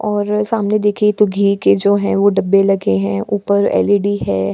और सामने देखिये तो घी के जो हे वो डब्बे लगे हें ऊपर एल.ई.डी. है।